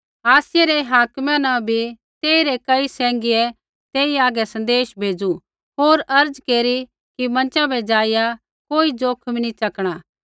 आसियै रै हाकिमा न बी तेइरै कई सैंघियै तेई हागै सँदेशा भेज़ू होर अर्ज़ केरी कि मँचा बै ज़ाइआ कोई ज़ोखिम नी च़कणा